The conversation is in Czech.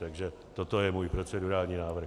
Takže toto je můj procedurální návrh.